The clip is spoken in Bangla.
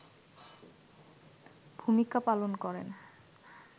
ভূমিকা পালন করেন